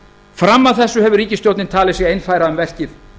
fram að þessu hefur ríkisstjórnin talið sig einfæra um verkið